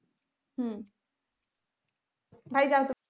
হম